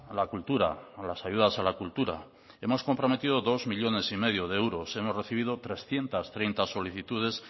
la cultura las ayudas a la cultura hemos comprometido dos coma cinco millónes de euros hemos recibido trescientos treinta solicitudes